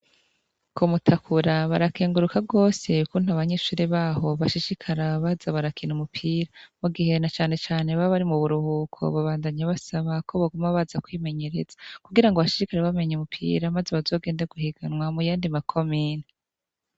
Ku Mutakura barakenguruka rwose kuntu abanyeshuri baho bashishikara baza barakina umupira mu gihen a cyane cyane babari mu buruhuko babandanye basaba ko bagoma baza kwimenyereza kugira ngo bashishikara bamenye umupira maze bazogende guhiganwa mu yandi ma komini.